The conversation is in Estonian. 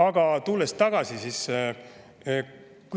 Aga tulen tagasi.